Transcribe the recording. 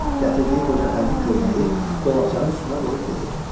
Gətirdiyi qoca fəndli köynəyi dolabçanın üstünə qoyub dedi: